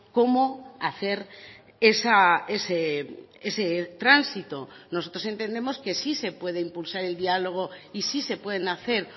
cómo hacer ese tránsito nosotros entendemos que sí se puede impulsar el diálogo y sí se pueden hacer